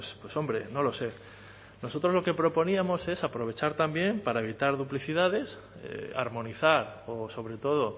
pues hombre no lo sé nosotros lo que proponíamos es aprovechar también para evitar duplicidades armonizar o sobre todo